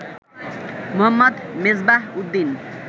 Mohammad Mezbahuddin